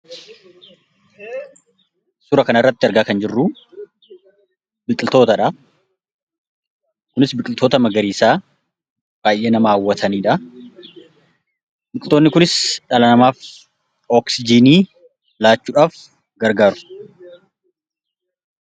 Suuraa kana irratti argaa kan jirru biqiltoota dha. Kunis biqiltoota magariisaa baay'ee nama hawwatanii dha. Biqiloonni kunis dhala namaaf oksijiinii laachuudhaaf gargaaru.